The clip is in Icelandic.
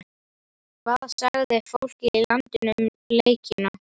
Hvað sagði fólkið í landinu um leikina?